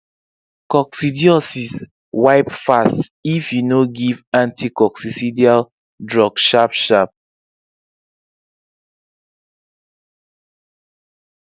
coccidiosis wipe fast if you no give anticoccidial drug sharpsharp